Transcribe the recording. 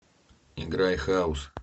играй хаус